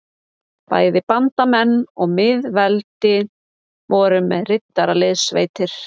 Bæði bandamenn og miðveldin voru með riddaraliðssveitir.